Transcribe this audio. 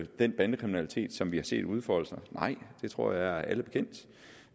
den bandekriminalitet som vi har set udfolde sig nej det tror jeg er alle bekendt